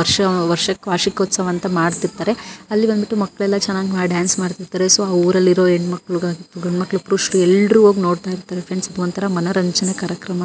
ವರ್ಷ ವಾರ್ಷಿಕೋತ್ಸವ ಅಂತ ಮಾಡ್ತಿರುತ್ತಾರೆ ಅಲ್ಲಿ ಬಂದ್ಬಿಟ್ಟು ಮಕ್ಕಳೆಲ್ಲ ಚೆನ್ನಾಗಿ ಡಾನ್ಸ್ ಮಾಡ್ತಿರುತ್ತಾರೆ ಸೊ ಆ ಊರಲ್ಲಿರೋ ಹೆಣ್ಣಮಕ್ಕಳು ಗಂಡುಮಕ್ಕಳು ಎಲ್ಲರೂ ಹೋಗಿ ನೋಡ್ತಿರುತ್ತಾರೆ ಫ್ರೆಂಡ್ಸ್ ಒಂಥರಾ ಮನೋರಂಜನೆ ಕಾರ್ಯಕ್ರಮ---